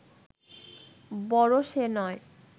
বড় সে নয়